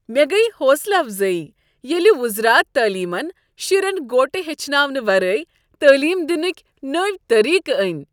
مےٚ گیہ حوصلہٕ افضٲیی ییٚلہ وزارت تعلیمن شرین گوٹہٕ ہیٚچھناونہٕ ورٲے تعلیٖم دنٕکۍ نٔوۍ طٔریٖقہٕ أنۍ۔